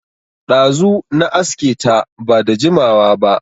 Ɗazu na aske ta, ba da jimawa ba